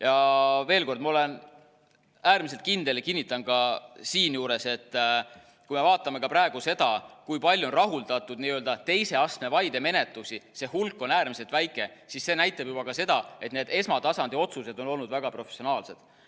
Ja veel kord: ma olen äärmiselt kindel ja kinnitan ka siinjuures, et kui me vaatame ka praegu seda, kui palju on rahuldatud n-ö teise astme vaide menetlusi, see hulk on äärmiselt väike, siis see näitab ka seda, et need esmatasandi otsused on olnud väga professionaalsed.